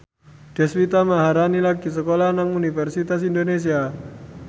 Deswita Maharani lagi sekolah nang Universitas Indonesia